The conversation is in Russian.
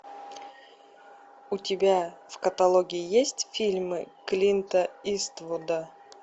у тебя в каталоге есть фильмы клинта иствуда